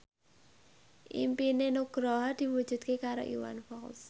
impine Nugroho diwujudke karo Iwan Fals